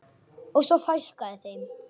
Og svo fækkaði þeim.